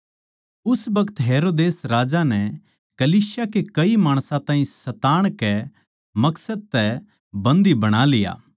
उस बखत हेरोदेस राजै नै कलीसिया के कई माणसां ताहीं सताण कै मकसद तै बन्दी बणा लिया